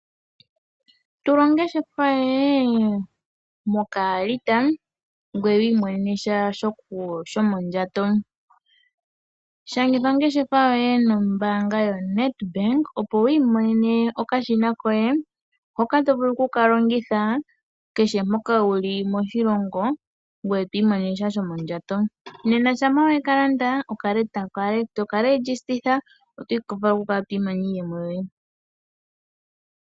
Tula ongeshefa yoye moka alita ngoye wi imonenemo sha shomodjhato. Shangitha ongeshefa yoye nombaanga yo Nedbank opo wi imonene okashina koye hoka tovulu oku kalongitha kehe mpoka wuli ngoye to imonenemosha .shampa weka landa toka shangitha iiyemo yoye.